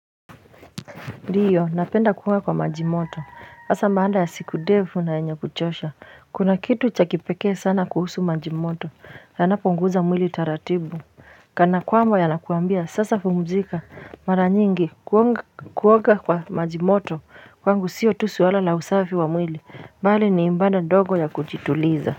Ndiyo napenda kuoga kwa majimoto hasa baada ya siku ndefu na yenye kuchosha kuna kitu cha kipekee sana kuhusu majimoto yanapunguza mwili taratibu kana kwamba yanakuambia sasa pumzika mara nyingi kuonga kuoga kwa majimoto kwangu sio tu suala la usafi wa mwili bali ni ibada ndogo ya kujituliza.